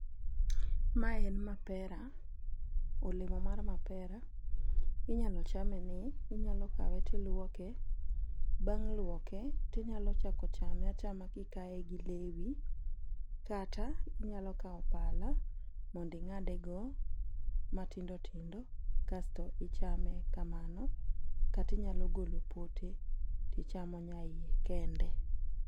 Mae en mapera, olemo mar mapera. Inyalo chame ni inyalo kawe tiluoke, bang' luoke tinyalo chako chame achama kikaye gi lewi. Kata inyalo kawo pala monding'ade go matindo tindo kasto ichame kamano. Katinyalo golo pote tichamo nyaiye kende.